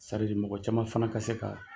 Saridi mɔgɔ caman fana ka se ka